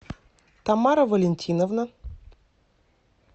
тамара валентиновна